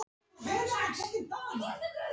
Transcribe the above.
Kristján: Er þá málefnavinna langt komin?